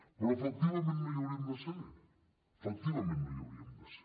però efectivament no hi hauríem de ser efectivament no hi hauríem de ser